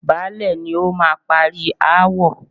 Baálẹ̀ ni ó máa parí aáwọ̀.